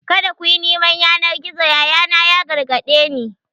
"Kada ku yi neman yanar gizo!" yayana ya gargade ni.